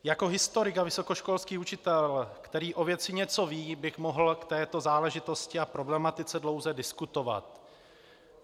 Jako historik a vysokoškolský učitel, který o věci něco ví, bych mohl k této záležitosti a problematice dlouze diskutovat.